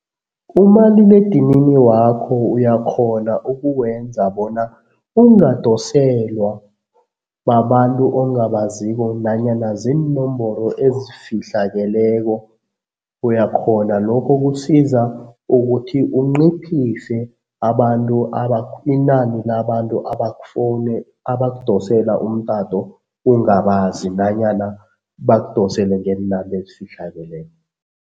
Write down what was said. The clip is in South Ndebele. Umaliledinini wakho uyakghona ukukwenza bona ungadoselwa babantu ongabaziko nanyana ziinomboro ezifihlakeleko, uyakghona lokho kusiza ukuthi unciphise abantu inani labantu abakudosela umtato ungabazi nanyana bakudosele ngeenamba ezifihlakeleko.